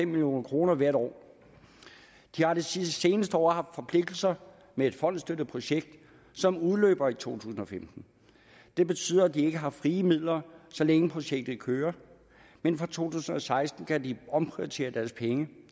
million kroner hvert år de har de seneste år haft forpligtelser med et fondsstøttet projekt som udløber i to tusind og femten det betyder at de ikke har frie midler så længe projektet kører men fra to tusind og seksten kan de omprioritere deres penge